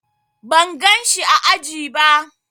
Ban gan shi ã aji ba.